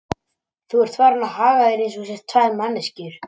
Þú ert farinn að haga þér eins og þú sért tvær manneskjur.